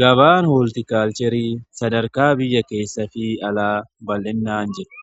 Gabaan hooltikaalcheerii sadarkaa biyya keessa fi alaa bal'innaan jedhe